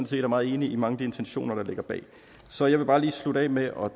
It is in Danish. set er meget enige i mange af de intentioner der ligger bag så jeg vil bare lige slutte af med at